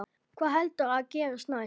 Hvað heldurðu að gerist næst?